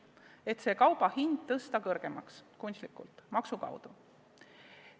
Selliste kaupade hinda tõstetakse maksu abil kunstlikult kõrgemaks.